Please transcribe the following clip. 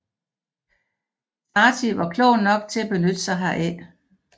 Sarti var klog nok til at benytte sig heraf